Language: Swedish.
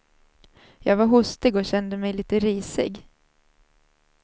Jag var hostig och kände mig lite risig.